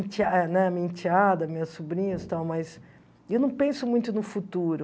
ente é né minha enteada, minhas sobrinhas e tal mas eu não penso muito no futuro.